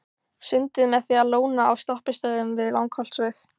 Sundið með því að lóna á stoppistöðvum við Langholtsveg.